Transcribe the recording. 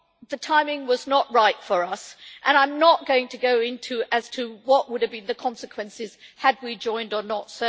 The timing was not right for us and I am not going to go into what would have been the consequences had we joined or not.